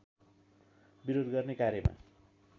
विरोध गर्ने कार्यमा